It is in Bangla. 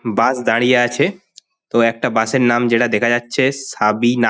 বাস দাঁড়িয়ে আছে। তো একটা বাস এর নাম যেটা দেখা যাচ্ছে সাবিনা ।